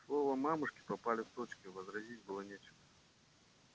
слова мамушки попали в точку возразить было нечего